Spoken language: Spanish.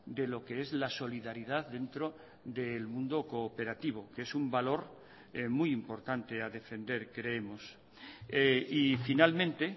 de lo que es la solidaridad dentro del mundo cooperativo que es un valor muy importante a defender creemos y finalmente